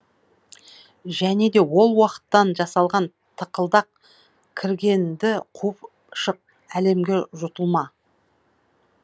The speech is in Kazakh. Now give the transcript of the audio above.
және де ол уақыттан жасалған тықылдақ кіргенді қуып шық әлемге жұтылма